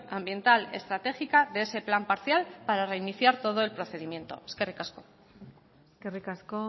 ambiental estratégica de ese plan parcial para reiniciar todo el procedimiento eskerrik asko eskerrik asko